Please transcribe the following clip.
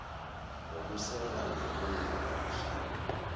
ngokuseka ngelungelo ubuhlanga